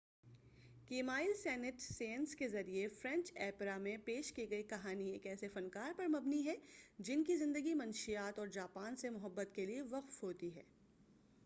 Camille Saint Saens کے ذریعہ French opera میں پیش کی گئی کہانی ایک ایسے فنکار پر مبنی ہے جن کی زندگی منشیات اور جاپان سے محبت کیلئے وقف ہوتی ہے